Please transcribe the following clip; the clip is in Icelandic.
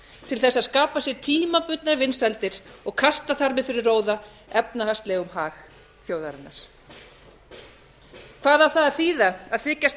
til þess að skapa sér tímabundnar vinsældir og kasta þar með fyrir róða efnahagslegum hag þjóðarinnar hvað á það að þýða að þykjast